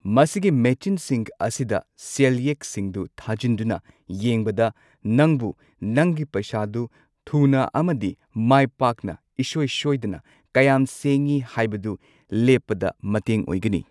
ꯃꯁꯤꯒꯤ ꯃꯦꯆꯤꯟꯁꯤꯡ ꯑꯁꯤꯗ ꯁꯦꯜꯌꯦꯛꯁꯤꯡꯗꯨ ꯊꯥꯖꯤꯟꯗꯨꯅ ꯌꯦꯡꯕꯗ ꯅꯪꯕꯨ ꯅꯪꯒꯤ ꯄꯩꯁꯥꯗꯨ ꯊꯨꯅ ꯑꯃꯗꯤ ꯃꯥꯏꯄꯥꯛꯅ ꯏꯁꯣꯏ ꯁꯣꯏꯗꯅ ꯀꯌꯥꯝ ꯁꯦꯡꯉꯤ ꯍꯥꯏꯕꯗꯨ ꯂꯦꯞꯄꯗ ꯃꯇꯦꯡ ꯑꯣꯏꯒꯅꯤ꯫